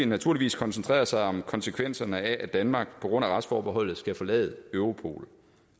naturligvis koncentreret sig om konsekvenserne af at danmark på grund af retsforbeholdet skal forlade europol